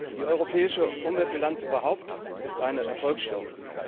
Die europäische Umweltbilanz überhaupt ist eine Erfolgsstory.